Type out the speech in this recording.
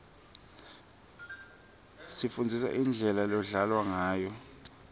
sifundziswa indlela lodlalwa ngayo